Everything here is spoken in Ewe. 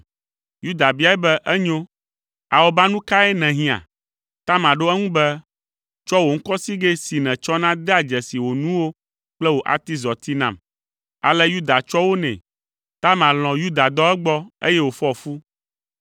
Yuda biae be, “Enyo, awɔbanu kae nèhiã?” Tamar ɖo eŋu be, “Tsɔ wò ŋkɔsigɛ si nètsɔna dea dzesi wò nuwo kple wò atizɔti nam.” Ale Yuda tsɔ wo nɛ. Tamar lɔ̃ Yuda dɔ egbɔ, eye wòfɔ fu.